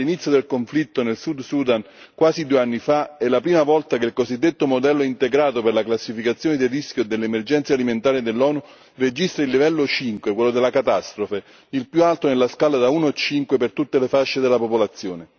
Dall'inizio del conflitto nel Sud Sudan, quasi due anni fa, è la prima volta che il cosiddetto modello integrato per la classificazione del rischio dell'emergenza alimentare dell'ONU registra il livello 5, quello della catastrofe, il più alto nella scala da uno a cinque, per tutte le fasce della popolazione.